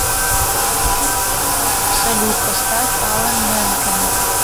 салют поставь алан мэнкен